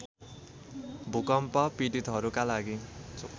भूकम्प पीडितहरूका लागि